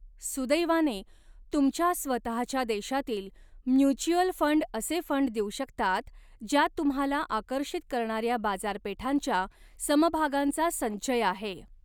सुदैवाने, तुमच्या स्वतःच्या देशातील म्युच्युअल फंड असे फंड देऊ शकतात, ज्यांत तुम्हाला आकर्षित करणाऱ्या बाजारपेठांच्या समभागांचा संचय आहे.